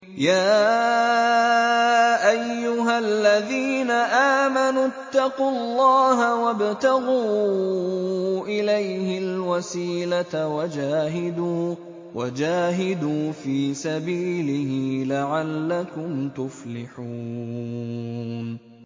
يَا أَيُّهَا الَّذِينَ آمَنُوا اتَّقُوا اللَّهَ وَابْتَغُوا إِلَيْهِ الْوَسِيلَةَ وَجَاهِدُوا فِي سَبِيلِهِ لَعَلَّكُمْ تُفْلِحُونَ